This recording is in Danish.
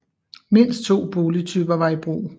Mindst to boligtyper var i brug